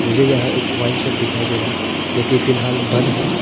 मुझे यह एक वाइन शॉप दिखाई दे रहा है जो कि फिलहाल बंद है।